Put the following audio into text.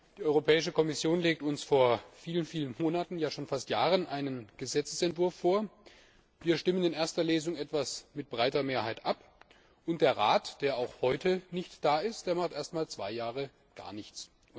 Die Europäische Kommission legt uns vor vielen Monaten, ja schon fast Jahren, einen Gesetzesentwurf vor, wir stimmen in erster Lesung etwas mit breiter Mehrheit ab, und der Rat, der auch heute nicht da ist, macht erst mal zwei Jahre gar nichts.